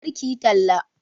Kar kiyi talla